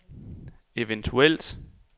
eventuelt